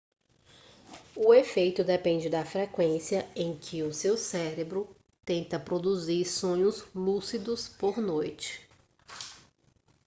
o efeito depende da frequência em que o seu cérebro tenta produzir sonhos lúcidos por noite